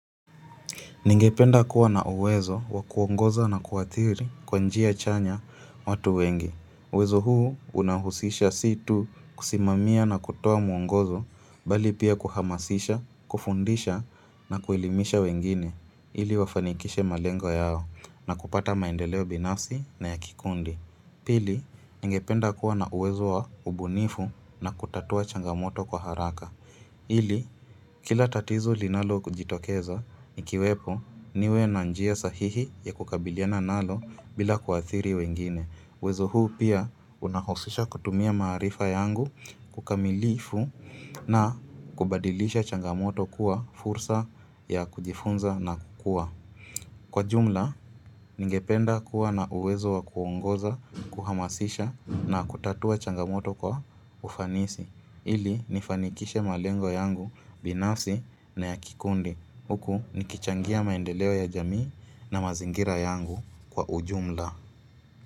Ningependa kuwa na uwezo wa kuongoza na kuathiri kwa njia chanya watu wengi. Uwezo huu unahusisha sii tu kusimamia na kutoa mwongozo bali pia kuhamasisha, kufundisha na kuelimisha wengine ili wafanikishe malengo yao na kupata maendeleo binasi na yakikundi. Pili, ningependa kuwa na uwezo wa ubunifu na kutatua changamoto kwa haraka. Ili, kila tatizo linalo kujitokeza, nikiwepo niwe na njia sahihi ya kukabiliana nalo bila kuathiri wengine. Uwezo huu pia unahosisha kutumia maarifa yangu kukamilifu na kubadilisha changamoto kwa fursa ya kujifunza na kukua. Kwa jumla, ningependa kuwa na uwezo wa kuongoza, kuhamasisha na kutatua changamoto kwa ufanisi. Ili nifanikishe malengo yangu binasi na ya kikundi huku nikichangia maendeleo ya jamii na mazingira yangu kwa ujumla.